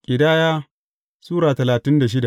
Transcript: Ƙidaya Sura talatin da shida